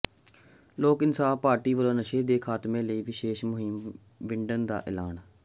ਲੋਕ ਇਨਸਾਫ਼ ਪਾਰਟੀ ਵੱਲੋਂ ਨਸ਼ੇ ਦੇ ਖਾਤਮੇ ਲਈ ਵਿਸ਼ੇਸ਼ ਮੁਹਿੰਮ ਵਿੱਢਣ ਦਾ ਐਲਾਨ